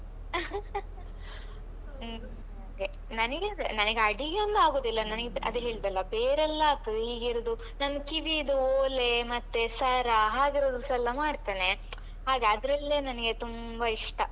ಹ್ಮ್ ನನಿಗೆ ಅದೇ ನನಿಗೆ ಅಡಿಗೆಯೆಲ್ಲ ಆಗುದಿಲ್ಲ ನನಗೆ ಅದೇ ಹೇಳಿದೆಯೆಲ್ಲ ಬೇರೆಲ್ಲ ಆಗ್ತದೆ ಹೀಗೆ ಇರುದು ನನ್ ಕಿವಿದು ಓಲೆ ಮತ್ತೆ ಸರ ಹಾಗಿರುವುದಸ ಎಲ್ಲ ಮಾಡ್ತೇನೆ ಹಾಗೆ ಅದ್ರಲ್ಲೇ ನನಗೆ ತುಂಬ ಇಷ್ಟ.